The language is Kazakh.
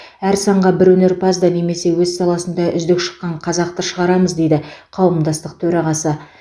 әр санға бір өнерпазды немесе өз саласында үздік шыққан қазақты шығарамыз дейді қауымдастық төрағасы